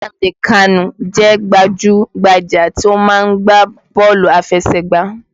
Nnamdi kanu jẹ́ gbajú-gbajà tí ó máa ń gbá bọ́ọ̀lù aláfẹsẹ̀gbá